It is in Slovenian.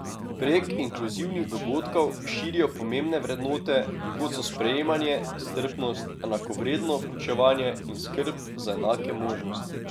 Prek inkluzivnih dogodkov širijo pomembne vrednote, kot so sprejemanje, strpnost, enakovredno vključevanje in skrb za enake možnosti.